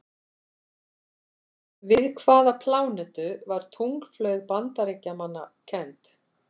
Við hvaða plánetu var tunglflaug Bandaríkjamanna kennd?